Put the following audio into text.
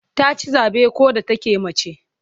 Ta ci zabe ko da take mace.